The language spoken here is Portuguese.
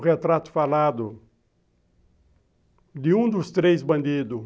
O retrato falado de um dos três bandidos.